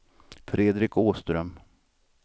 Fredrik Åström